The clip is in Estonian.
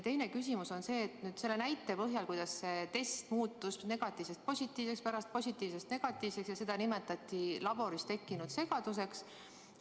Teine küsimus on selle näite põhjal, kuidas test muutus negatiivsest positiivseks, pärast positiivsest negatiivseks ja seda nimetati laboris tekkinud segaduseks.